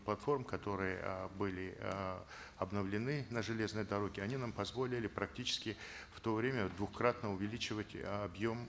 платформ которые э были э обновлены на железной дороге они нам позволили практически в то время двухкратно увеличивать объем